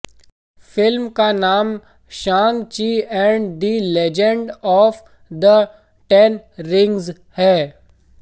film का नाम Shang Chi and the legend of the ten rings है